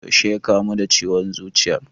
Yaushe ya kamu da ciwon zuciyar?